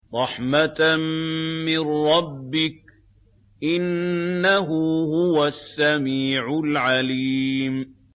رَحْمَةً مِّن رَّبِّكَ ۚ إِنَّهُ هُوَ السَّمِيعُ الْعَلِيمُ